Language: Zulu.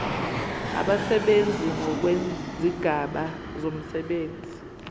abasebenzi ngokwezigaba zomsebenzi